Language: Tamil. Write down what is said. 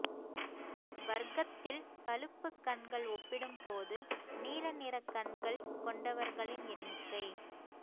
வர்க்கத்தில் பழுப்பு கண்கள் ஒப்பிடும்போது நீல நிற கண்கள் கொண்டவர்களின் எண்ணிக்கை